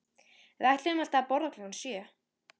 Við ætluðum alltaf að borða klukkan sjö